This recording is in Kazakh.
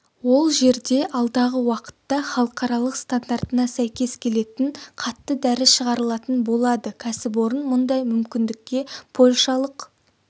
ол жерде алдағы уақытта халықаралық стандартына сәйкес келетін қатты дәрі шығарылатын болады кәсіпорын мұндай мүмкіндікке польшалық